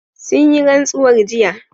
Sun yi rantsuwar jiya